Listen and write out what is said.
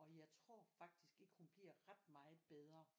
Og jeg tror faktisk ikke at hun bliver ret meget bedre